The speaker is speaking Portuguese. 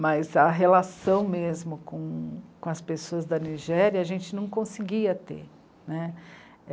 Mas a relação mesmo com, com as pessoas da Nigéria a gente não conseguia ter, né.